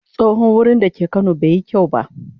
Tsohon wurin da ke kano bai yi kyau ba.